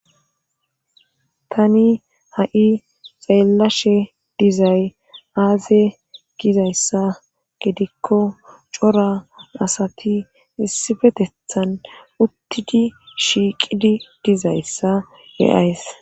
Tani ha'i xeellashe dizay aaze gizayssa gedikko cora asati issifetethan uttidi shiiqidi dizayssa eays.